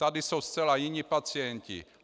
Tady jsou zcela jiní pacienti.